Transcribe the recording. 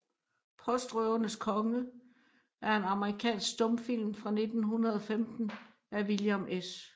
Postrøvernes Konge er en amerikansk stumfilm fra 1915 af William S